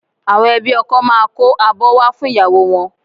Àwọn ẹbí ọkọ máa kó abọ́ wá fún ìyàwó wọn